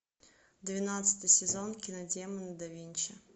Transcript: двенадцатый сезон кино демоны да винчи